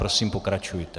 Prosím, pokračujte.